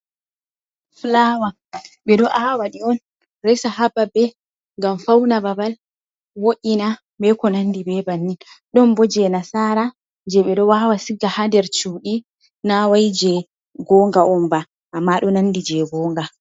Flawa, ɓe ɗo aawa ɗi on resa, haa babe ngam fauna babal wo'ina, be ko nandi be bannin. Ɗon bo jei nasaara jei ɓe ɗo aawa, siga haa nder cudi, na wai jei gonga on ba amma ɗo nandi jei gonga.